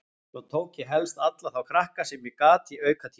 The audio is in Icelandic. Svo tók ég helst alla þá krakka sem ég gat í aukatíma.